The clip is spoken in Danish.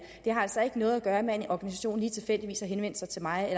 har altså ikke noget at gøre med at en organisation lige tilfældigvis har henvendt sig til mig